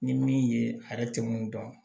Ni min ye ale tɛ mun dɔn